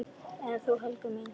En þú, Helga mín?